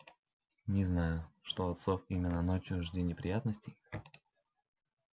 не знаю что от сов именно ночью жди неприятностей